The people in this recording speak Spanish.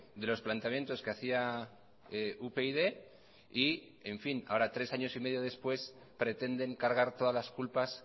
de los planteamientos que hacía upyd y ahora tres años y medio después pretenden cargar todas las culpas